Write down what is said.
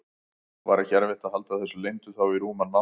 Var ekki erfitt að halda þessu leyndu þá í rúman mánuð?